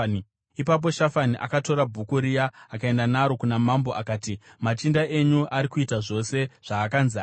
Ipapo Shafani akatora bhuku riya akaenda naro kuna Mambo akati, “Machinda enyu ari kuita zvose zvaakanzi aite.